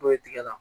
N'o ye tigɛ la